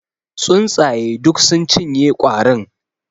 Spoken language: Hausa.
Tsuntsaye duk sun cinye kwarin.